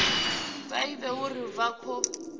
vha ivhe uri hu khou